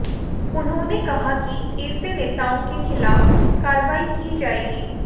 उन्होंने कहा कि ऐसे नेताओं के खिलाफ कार्रवाई की जाएगी